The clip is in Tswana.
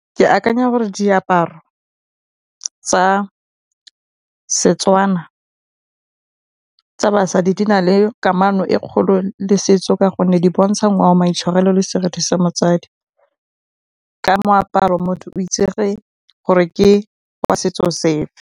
Ke akanya gore diaparo tsa Setswana tsa basadi di na le kamano e kgolo le setso ka gonne di bontsha ngwao, maitshwarelo le sa motsadi. Ka moaparo motho o itsege gore ke wa setso sefe.